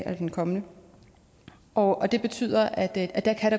og den kommende og det betyder at det